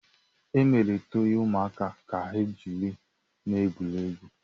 Emere tọọyị ụmụaka ka ha jiri na-egwu egwuregwu.